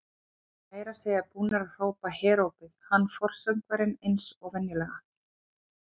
Þeir voru meira að segja búnir að hrópa herópið, hann forsöngvarinn eins og venjulega.